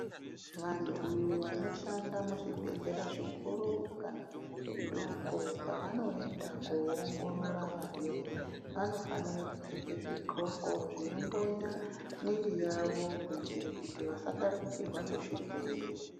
Vantu vanoshanda muzvibhedhleya zvikuru kana zvidoko pavanoenda kundoongorora varwere vonofanira kupfeka zvidhxoko zvinondonya muviri yavo kuitira vasatapurirwa nezvirwere.